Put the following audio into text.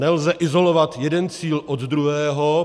Nelze izolovat jeden cíl od druhého.